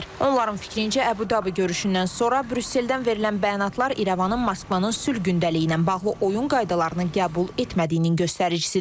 Onların fikrincə, Əbu-Dabi görüşündən sonra Brüsseldən verilən bəyanatlar İrəvanın Moskvanın sülh gündəliyi ilə bağlı oyun qaydalarını qəbul etmədiyinin göstəricisidir.